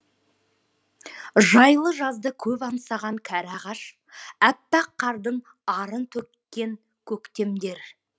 жайлы жазды көп аңсаған кәрі ағаш аппақ қардың арын төккен көктемдер